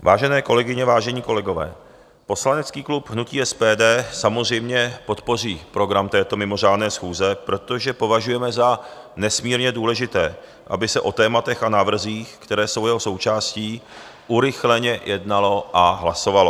Vážené kolegyně, vážení kolegové, poslanecký klub hnutí SPD samozřejmě podpoří program této mimořádné schůze, protože považujeme za nesmírně důležité, aby se o tématech a návrzích, které jsou jeho součástí, urychleně jednalo a hlasovalo.